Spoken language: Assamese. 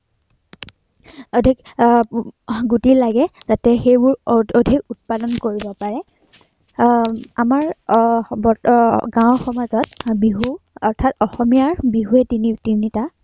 অধিক আহ গুটি লাগে আহ যাতে এইবোৰ অধিক উৎপাদন কৰিব পাৰে, আহ আমাৰ আহ বৰ্তমান, গাওঁ সমাজত বিহু আহ অৰ্থাৎ অসমীয়াৰ বিহুৱেই তিনিটা